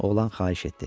Oğlan xahiş etdi.